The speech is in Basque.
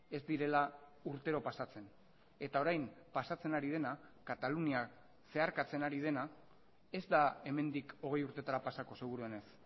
ez direla urtero pasatzen eta orain pasatzen ari dena katalunia zeharkatzen ari dena ez da hemendik hogei urteetara pasako seguruenez